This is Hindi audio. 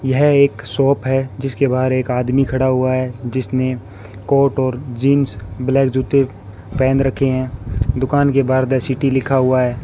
यह एक शॉप है जिसके बाहर एक आदमी खड़ा हुआ है जिसने कोर्ट और जींस ब्लैक जूते पहेन रखे हैं दुकान के बाहर द सिटी लिखा हुआ है।